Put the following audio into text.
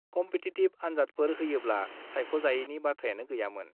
Competitive आन्जादफोर होयोब्ला सायख'जायैनि बाथ्रायानो गैयामोन।